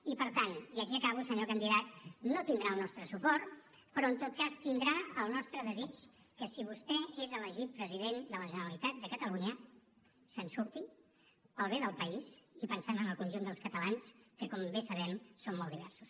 i per tant i aquí acabo senyor candidat no tindrà el nostre suport però en tot cas tindrà el nostre desig que si vostè és elegit president de la generalitat de catalunya se’n surti pel bé del país i pensant en el conjunt dels catalans que com bé sabem són molt diversos